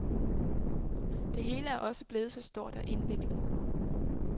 Det hele er også blevet så stort og indviklet.